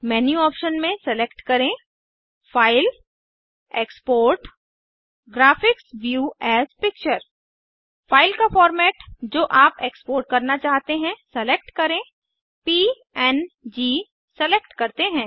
menu option में select करें फाइलगटीजीटी एक्सपोर्टगटगट graphics view as picture file का फॉर्मेट जो आप एक्सपोर्ट करना चाहते हैं सेलेक्ट करें पंग सेलेक्ट करते हैं